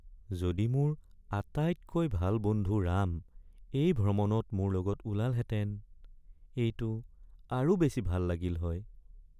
যদি মোৰ আটাইতকৈ ভাল বন্ধু ৰাম এই ভ্ৰমণত মোৰ লগত ওলালহেঁতেন। এইটো আৰু বেছি ভাল লাগিল হয়।